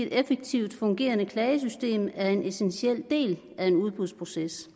et effektivt fungerende klagesystem er en essentiel del af en udbudsproces